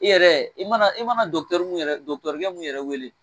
I yɛrɛ i mana i mana dɔkutɛriw yɛrɛ dɔkutɔrukɛ mun yɛrɛ wele